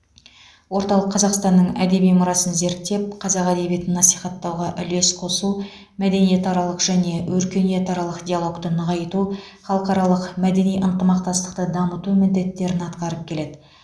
орталық қазақстанның әдеби мұрасын зерттеп қазақ әдебиетін насихаттауға үлес қосу мәдениетаралық және өркениетаралық диалогты нығайту халықаралық мәдени ынтымақтастықты дамыту міндеттерін атқарып келеді